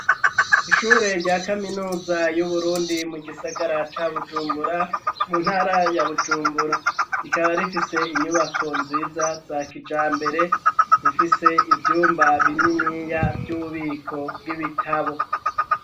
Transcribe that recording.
Ishure rya kaminuza y'uburundi mu gisagara ca bujumbura mu ntara ya bujumbura rikaba rifise inyubako nziza za kijambere zifise ivyumba bininiya vy'ububiko bw'ibitabo.